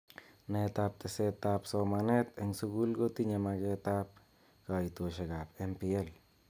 Naet ab teset ab somanet eng sukul kotinye maket ab kaitoshek ab MPL.